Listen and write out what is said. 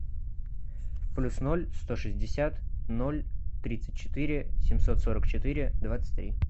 плюс ноль сто шестьдесят ноль тридцать четыре семьсот сорок четыре двадцать три